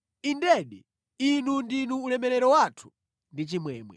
Indedi, inu ndinu ulemerero wathu ndi chimwemwe.